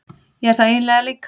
Ég er það eiginlega líka.